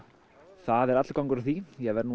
það er allur gangur á því ég verð nú